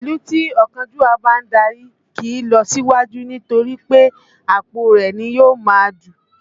Ìlú tí ọ̀kánjúà bá ń darí kìí lọ síwájú nítorí pé àpò rẹ̀ ni yóò máa dù